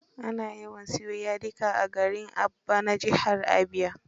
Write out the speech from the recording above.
Ana yawan siyo yadika a garin Aba na jihar Abia.